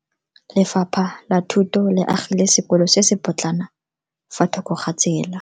Lefapha la Thuto le agile sekolo se se potlana fa thoko ga tsela.